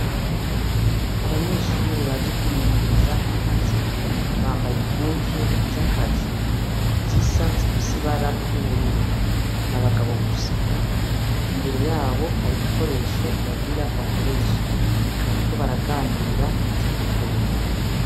Abanyeshuri baje kwimenyereza akazi bambaye impuzu zakazi zisa zifise ibara ry'ubururu n'abagabo gusa imbere yabo hari ibikoresho bagira bakoreshe bariko baraganira batwenga.